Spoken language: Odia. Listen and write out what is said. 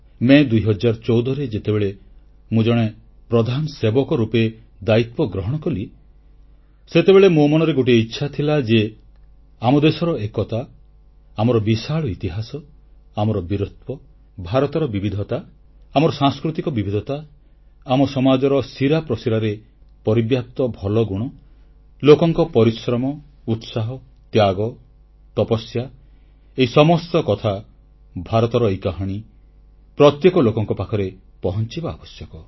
ମେ 2014ରେ ଯେତେବେଳେ ମୁଁ ଜଣେ ପ୍ରଧାନସେବକ ରୂପେ ଦାୟିତ୍ୱ ଗ୍ରହଣ କଲି ସେତେବେଳେ ମୋ ମନରେ ଗୋଟିଏ ଇଚ୍ଛା ଥିଲା ଯେ ଆମ ଦେଶର ଏକତା ଆମର ବିଶାଳ ଇତିହାସ ଆମର ବୀରତ୍ୱ ଭାରତର ବିବିଧତା ଆମର ସାଂସ୍କୃତିକ ବିବିଧତା ଆମ ସମାଜର ଶିରାପ୍ରଶିରାରେ ପରିବ୍ୟାପ୍ତ ଭଲ ଗୁଣ ଲୋକଙ୍କ ପରିଶ୍ରମ ଉତ୍ସାହ ତ୍ୟାଗ ତପସ୍ୟା ଏହି ସମସ୍ତ କଥା ଭାରତର ଏହି କାହାଣୀ ପ୍ରତ୍ୟେକ ଲୋକଙ୍କ ପାଖରେ ପହଂଚିବା ଆବଶ୍ୟକ